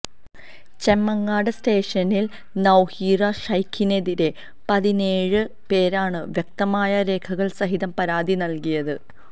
ചെമ്മങ്ങാട് സ്റ്റേഷനിൽ നൌഹീറ ശൈഖിനെതിരെ പതിനേഴ് പേരാണ് വ്യക്തമായ രേഖകൾ സഹിതം പരാതി നൽകിയത്